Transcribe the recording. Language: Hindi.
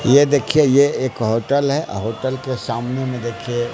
यह देखिए यह एक होटल है और होटल के सामने में देखिए--